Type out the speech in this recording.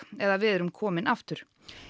eða við erum komin aftur